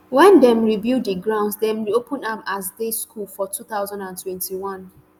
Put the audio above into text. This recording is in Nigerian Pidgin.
wen dem rebuild di grounds dem reopen am as day school for two thousand and twenty-one